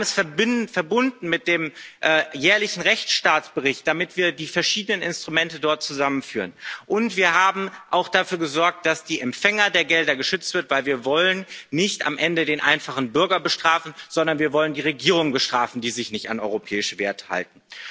Wir haben es verbunden mit dem jährlichen Rechtsstaatsbericht, damit wir die verschiedenen Instrumente dort zusammenführen. Und wir haben auch dafür gesorgt, dass die Empfänger der Gelder geschützt werden, weil wir am Ende nicht den einfachen Bürger, sondern die Regierungen bestrafen wollen, die sich nicht an europäische Werte halten.